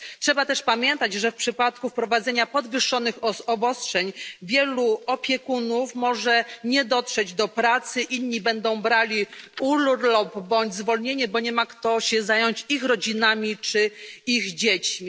Trzeba też pamiętać, że w przypadku wprowadzenia podwyższonych obostrzeń wielu opiekunów może nie dotrzeć do pracy, inni będą brali urlop bądź zwolnienie, bo nie mają nikogo, kto mógłby zająć się ich rodzinami czy ich dziećmi.